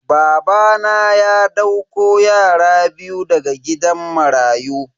Babana ya dauko yara biyu daga gidan marayu.